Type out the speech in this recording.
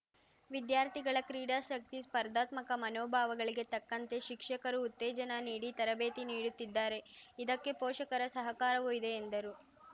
ವಿದ್ಯಾರ್ಥಿಗಳ ಕ್ರೀಡಾಸಕ್ತಿ ಸ್ಪರ್ಧಾತ್ಮಕ ಮನೋಭಾವಗಳಿಗೆ ತಕ್ಕಂತೆ ಶಿಕ್ಷಕರು ಉತ್ತೇಜನ ನೀಡಿ ತರಬೇತಿ ನೀಡುತ್ತಿದ್ದಾರೆ ಇದಕ್ಕೆ ಪೋಷಕರ ಸಹಕಾರವೂ ಇದೆ ಎಂದರು